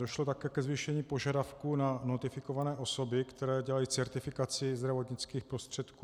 Došlo také ke zvýšení požadavků na notifikované osoby, které dělají certifikaci zdravotnických prostředků.